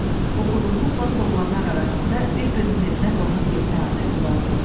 Oxuduğumuz vaxt oğlanlar arasında bir-birinin evinə qonaq getmək adəti vardı.